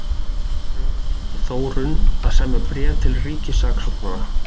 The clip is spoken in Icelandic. Fröken Þórunn að semja bréf til ríkissaksóknara.